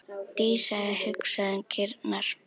Dísa hugsaði um kýrnar.